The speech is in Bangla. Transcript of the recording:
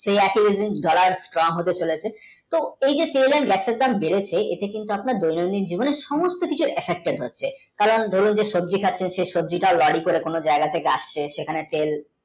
সেই একই Strong হতে চলেছে তো এই যে তেল and গ্যাসের দাম বেড়েছে এতে কিন্তু আপনার দৈনতিক জীবনে সুমস্থ কিছুহচ্ছে কারণ ধুরুন যে সবজি টা lori তে কোনো জাইগা থেকে আসছে সেখানে তেল